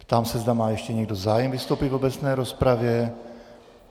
Ptám se, zda má ještě někdo zájem vystoupit v obecné rozpravě.